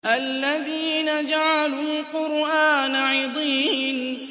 الَّذِينَ جَعَلُوا الْقُرْآنَ عِضِينَ